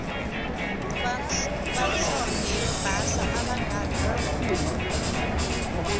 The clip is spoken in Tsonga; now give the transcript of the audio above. vanhlonge yo basa avakarhala